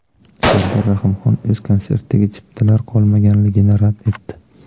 Sardor Rahimxon o‘z konsertiga chiptalar qolmaganligini rad etdi.